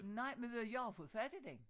Nej men ved du jeg har fået fat i den